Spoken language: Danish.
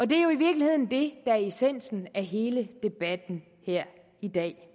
det er jo i virkeligheden det er essensen af hele debatten her i dag